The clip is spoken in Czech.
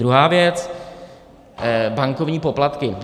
Druhá věc, bankovní poplatky.